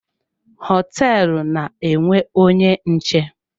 Hoteelu na-enwe onye nche.